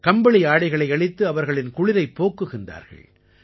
கம்பளி ஆடைகளை அளித்து அவர்களின் குளிரைப் போக்குகிறார்கள்